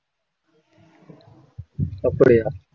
அப்படியா